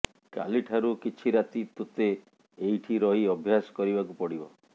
କାଲି ଠାରୁ କିଛି ରାତି ତୋତେ ଏଇଠି ରହି ଅଭ୍ୟାସ କରିବାକୁ ପଡ଼ିବ